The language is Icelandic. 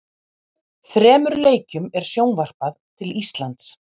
Þremur leikjum er sjónvarpað til Íslands.